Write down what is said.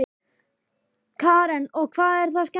Karen: Og hvað er það skemmtilegasta?